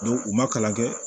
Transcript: u ma kalan kɛ